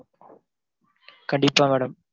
கண்டிப்பா madam.